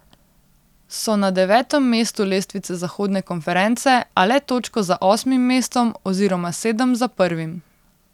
So na devetem mestu lestvice zahodne konference, a le točko za osmim mestom oziroma sedem za prvim.